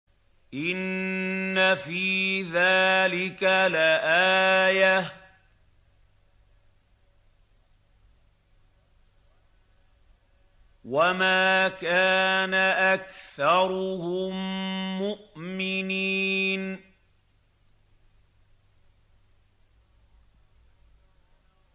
إِنَّ فِي ذَٰلِكَ لَآيَةً ۖ وَمَا كَانَ أَكْثَرُهُم مُّؤْمِنِينَ